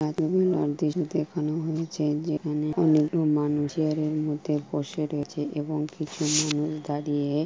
এখানে এই দৃশ্য দেখানো হয়েছে যেখানে অনেক মানুষ চেয়ারের মধ্যে বসে রয়েছে এবং কিছু মানুষ দাঁড়িয়ে --